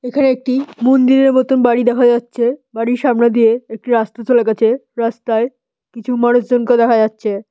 এখানে একটি মন্দিরের মতন বাড়ি দেখা যাচ্ছে। বাড়ির সামনে দিয়ে একটি রাস্তা চলে গেছে রাস্তায় কিছু মানুষজনকে দেখা যাচ্ছে।